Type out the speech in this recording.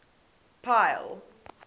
pile